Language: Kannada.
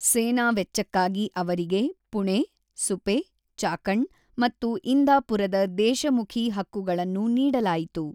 ಸೇನಾ ವೆಚ್ಚಕ್ಕಾಗಿ ಅವರಿಗೆ ಪುಣೆ, ಸುಪೆ, ಚಾಕಣ್ ಮತ್ತು ಇಂದಾಪುರದ ದೇಶಮುಖಿ ಹಕ್ಕುಗಳನ್ನು ನೀಡಲಾಯಿತು.